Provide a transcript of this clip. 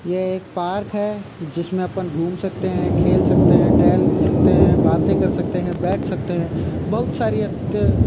ये एक पार्क है जिसमें अपन घूम सकते है खेल सकते है टहल सकते है बाते कर सकते है बैठ सकते है बहुत सारी --